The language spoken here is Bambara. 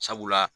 Sabula